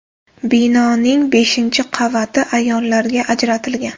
Binoning beshinchi qavati ayollarga ajratilgan.